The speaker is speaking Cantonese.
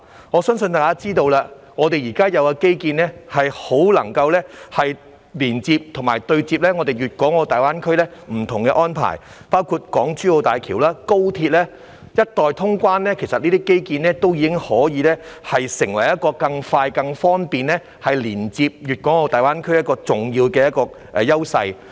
我相信大家知道，香港現有的基建很能夠連接和對接大灣區不同的安排，包括港珠澳大橋和高鐵，一待通關，這些基建便可成為更快、更方便連接大灣區的重要優勢。